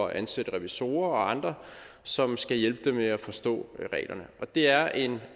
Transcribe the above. at ansætte revisorer og andre som skal hjælpe dem med at forstå reglerne det er en